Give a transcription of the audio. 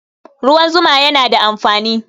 Ruwan zuma yana da amfani